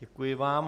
Děkuji vám.